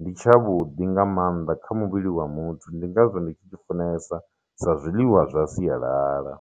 ndi tshavhuḓi nga maanḓa kha muvhili wa muthu ndi ngazwo ndi tshi tshi funesa sa zwiḽiwa zwa sialala.